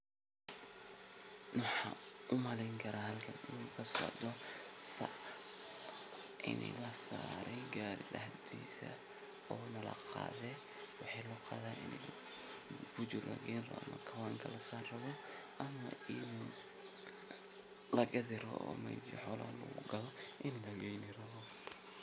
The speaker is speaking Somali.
shegan waa qaro qaraahasoo waxaa loo beera dhul aad iyo aad ufican caradiisa nah ay fican tahay carra qoyaan leh waxaa nah waxaan loga helaa dhulkaasi jubooyinka hoose ama shabeelada iyo dhulalka somaalida